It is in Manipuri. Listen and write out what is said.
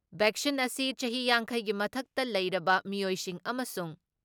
ꯚꯦꯛꯁꯤꯟ ꯑꯁꯤ ꯆꯍꯤ ꯌꯥꯡꯈꯩꯒꯤ ꯃꯊꯛꯇ ꯂꯩꯔꯕ ꯃꯤꯑꯣꯏꯁꯤꯡ ꯑꯃꯁꯨꯡ